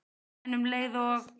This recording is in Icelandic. En um leið og